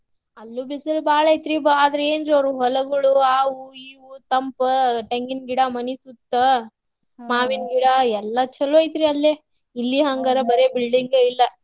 ಅಲ್ಲು ಬಿಸಲ್ ಬಾಳ ಐತ್ರಿ ಬಾ~ ಆದ್ರ ಏನ್ ಜೋರು ಹೊಲಗೊಳು ಆವು ಇವು ತಂಪ ತೆಂಗಿನ್ ಗಿಡ ಮನಿ ಸುತ್ತ ಗಿಡ ಎಲ್ಲಾ ಚಲೋ ಐತ್ರಿ ಅಲ್ಲೆ. ಇಲ್ಲಿ ಬರೆ building ಇಲ್ಲ.